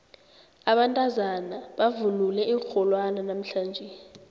abantazana bavunule iinrholwana namhlanje